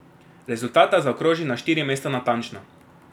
Rezultata zaokroži na štiri mesta natančno.